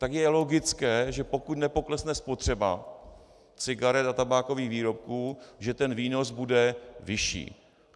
Tak je logické, že pokud nepoklesne spotřeba cigaret a tabákových výrobků, že ten výnos bude vyšší.